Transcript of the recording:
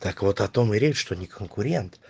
доклад о том и речь что не конкурент